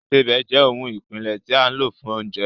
Ìsebẹ̀ jẹ́ ohun ìpìlẹ̀ tí a lò fún oúnjẹ